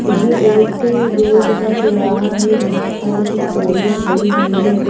ये एक रोड का चौराहा है जहाँ पर कुछ गाड़ियाँ खड़ी हुई हैं।